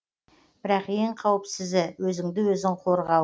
бірақ ең қауіпсізі өзіңді өзің қорғау